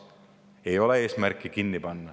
Ei ole eesmärki midagi kinni panna.